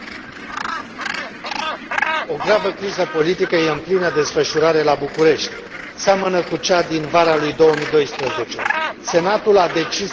Doamnă președinte, o gravă criză politică este în plină desfășurare la București. Seamănă cu cea din vara lui 2012. Senatul a decis să încalce Constituția.